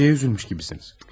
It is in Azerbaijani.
Bir şeyə üzülmüş gibisiniz.